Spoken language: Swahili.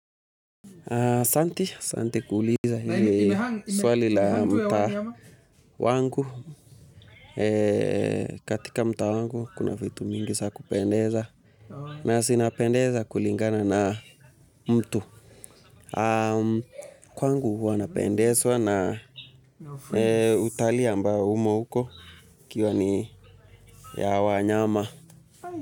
Asante kuuliza hili swali la mtaa wangu katika mtaa wangu kuna vitu mingi za kupendeza na zinapendeza kulingana na mtu kwangu huwa napendezwa na utalii ambao umo huko ikiwa ni ya wanyama